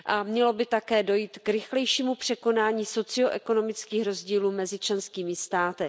Mělo by také dojít k rychlejšímu překonání socio ekonomických rozdílů mezi členskými státy.